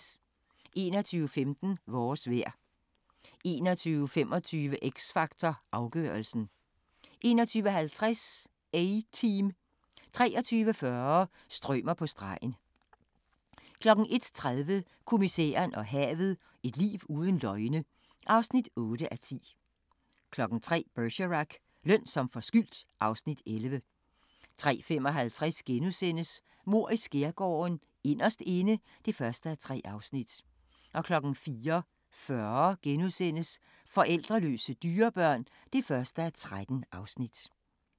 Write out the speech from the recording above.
21:15: Vores vejr 21:25: X Factor Afgørelsen 21:50: A-Team 23:40: Strømer på stregen 01:30: Kommissæren og havet: Et liv uden løgne (8:10) 03:00: Bergerac: Løn som forskyldt (Afs. 11) 03:55: Mord i Skærgården: Inderst Inde (1:3)* 04:40: Forældreløse dyrebørn (1:13)*